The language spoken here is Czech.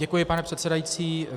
Děkuji, pane předsedající.